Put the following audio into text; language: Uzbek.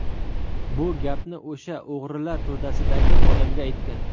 Bu gapni o‘sha o‘g‘rilar to‘dasidagi odamga aytgan.